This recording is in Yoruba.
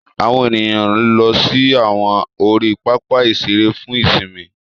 Àwọn ènìyàn ló sì awọn ori papa iṣere fún ìsimi